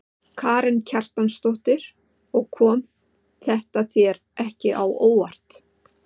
Karen Kjartansdóttir: Og kom þetta þér ekki á óvart?